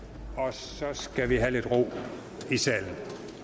så skal vi have lidt ro i salen